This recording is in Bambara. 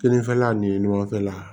Kinifɛla ni ɲɔgɔn cɛla la